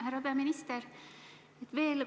Härra peaminister!